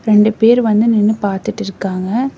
ரெண்டு பேர் வந்து நின்னு பாத்துட்டுருக்காங்க.